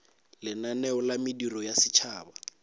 lenaneo la mediro ya setšhaba